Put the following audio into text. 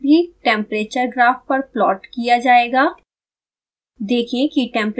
setpoint भी temperature graph पर plot किया जायेगा